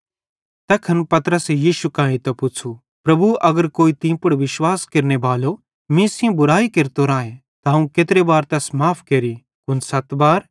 तैखन पतरसे यीशु कां एइतां पुच़्छ़ू प्रभु अगर कोई तीं पुड़ विश्वास केरनेबालो मीं सेइं बुरयाई केरतो राए त अवं केत्रे बार तैस माफ़ केरि कुन सत बार